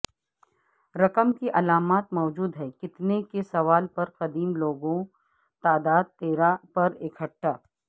رقم کی علامات موجود ہیں کتنے کے سوال پر قدیم لوگوں تعداد تیرہ پر اکٹھا